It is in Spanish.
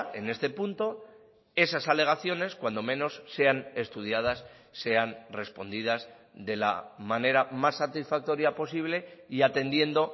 en este punto esas alegaciones cuando menos sean estudiadas sean respondidas de la manera más satisfactoria posible y atendiendo